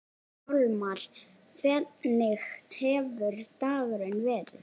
Hjálmar, hvernig hefur dagurinn verið?